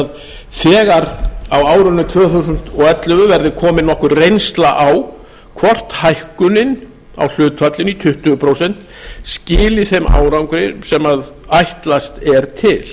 árinu tvö þúsund og ellefu verði komin nokkur reynsla á hvort hækkunin á hlutfallinu í tuttugu prósent skili þeim árangri sem ætlast er til